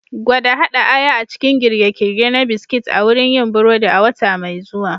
Gwada haɗa aya a cikin girke-girke na biskit a wurin yin burodi a wata mai zuwa.